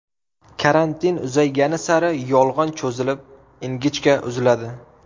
Karantin uzaygani sari yo‘g‘on cho‘zilib, ingichka uziladi.